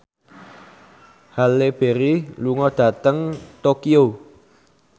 Halle Berry lunga dhateng Tokyo